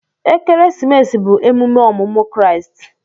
Ekeresimesi bụ emume ọmụmụ Kraịst.